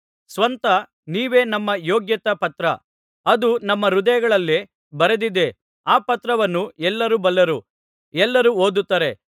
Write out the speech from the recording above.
ಸ್ವತಃ ನೀವೇ ನಮ್ಮ ಯೋಗ್ಯತಾ ಪತ್ರ ಅದು ನಮ್ಮ ಹೃದಯಗಳಲ್ಲೇ ಬರೆದಿದೆ ಆ ಪತ್ರವನ್ನು ಎಲ್ಲರೂ ಬಲ್ಲರು ಎಲ್ಲರೂ ಓದುತ್ತಾರೆ